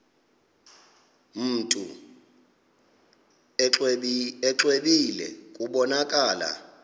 mntu exwebile kubonakala